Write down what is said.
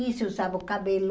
E se usava o cabelo,